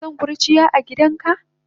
Kanason kurciya agidanka?